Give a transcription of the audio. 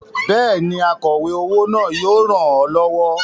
Bẹ́ẹ̀ni, akọ̀we owó náà yóò ràn ọ́ lọ́wọ́.